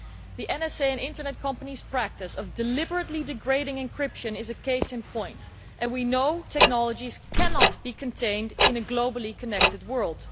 The NSA and Internet companies' practice of deliberately degrading encryption is a case in point, and we know technologies cannot be contained in a globally connected world.